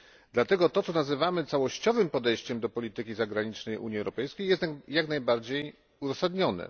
Dlatego to, co nazywamy całościowym podejściem do polityki zagranicznej Unii Europejskiej, jest jak najbardziej uzasadnione.